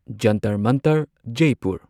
Jantar Mantar Jaipur